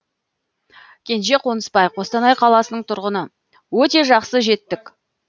кенже қонысбай қостанай қаласының тұрғыны өте жақсы жеттік